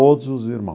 Todos os irmão.